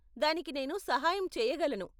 దానికి నేను సహాయం చెయ్యగలను.